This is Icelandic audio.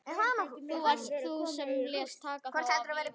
Það varst þú sem lést taka þá af lífi.